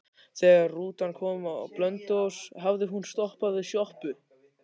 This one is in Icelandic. Þegar rútan kom á Blönduós hafði hún stoppað við sjoppu.